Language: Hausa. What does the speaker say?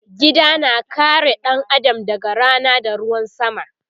Gida na kare ɗan Adam daga Rana da ruwan sama